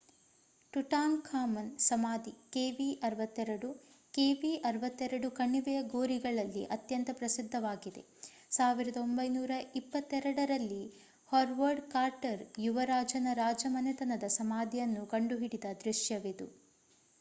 Tutankhamun ಸಮಾಧಿ kv62. kv62 ಕಣಿವೆಯ ಗೋರಿಗಳಲ್ಲಿ ಅತ್ಯಂತ ಪ್ರಸಿದ್ಧವಾಗಿದೆ 1922 ರಲ್ಲಿ ಹೊವಾರ್ಡ್ ಕಾರ್ಟರ್ ಯುವ ರಾಜನ ರಾಜಮನೆತನದ ಸಮಾಧಿಯನ್ನು ಕಂಡುಹಿಡಿದ ದೃಶ್ಯವಿದು